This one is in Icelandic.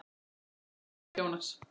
Kveðja, þinn frændi Friðrik Jónas.